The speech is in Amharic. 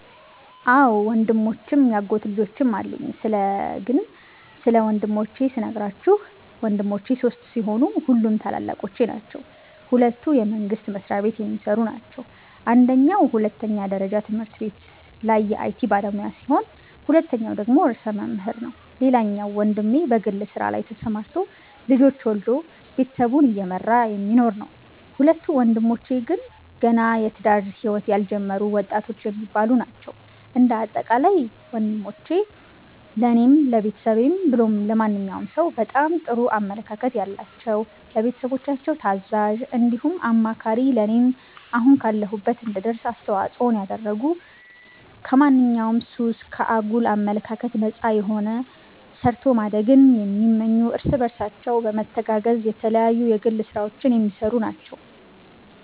አዎ ወንድሞችም ያጎት ልጆችም አሉኝ ስለ ግን ስለ ወንድሞቼ ስነግራችሁ ወንድሞቼ ሶስት ሲሆኑ ሁሉም ታላላቆቼ ናቸዉ ሁለቱ የመንግስት መስሪያቤት የሚሰሩ ናቸው አንደኛዉ ሁለተኛ ደረጃ ትምህርት ቤት ላይ የአይቲ ባለሙያ ሲሆን ሁለተኛዉ ደግሞ ርዕሰ መምህር ነዉ ሌላኛዉ ወንድሜ በግል ስራ ላይ ተሰማርቶ ልጆች ወልዶ ቤተሰቡን እየመራ የሚኖር ነዉ። ሁለቱ ወንድሞቼ ግን ገና የትዳር ህይወት ያልጀመሩ ወጣቶች የሚባሉ ናቸዉ። እንደ አጠቃላይ ወንሞቼ ለኔም ለቤተሰብም ብሎም ለማንኛዉም ሰዉ በጣም ጥሩ አመለካከት ያላቸዉ፣ ለቤተሰቦቻችን ታዛዥ እንዲሁም አማካሪ ለኔም አሁን ካለሁበት እንድደርስ አስተዋፅኦን ያደረጉ ከማንኛዉም ሱስ፣ ከአጉል አመለካከት ነፃ የሆኑ ሰርቶ ማደግን የሚመኙ እርስ በርሳቸው በመተጋገዝ የተለያዩ የግል ስራዎች የሚሰሩ ናቸዉ።